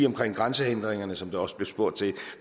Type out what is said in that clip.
om grænsehindringer som der også blev spurgt til